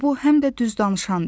Qobo həm də düz danışandı.